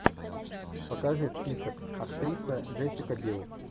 покажи список актриса джессика билл